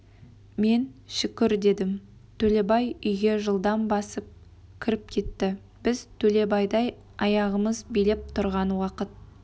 мен шүкір дедім төлебай үйге жылдам басып кіріп кетті біз төлебайдай аяғымыз билеп тұрған уақыт